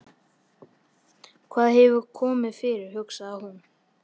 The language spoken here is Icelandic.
Hvað hefur komið fyrir, hugsaði hún.